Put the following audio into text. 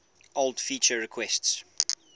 old feature requests